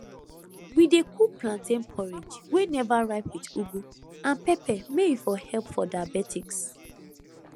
we dey cook plantain porridge wey never ripe with ugu and pepper may e for help for diabetics